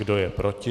Kdo je proti?